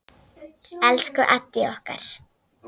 Elsku Addý okkar.